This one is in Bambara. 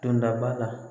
Dondaba la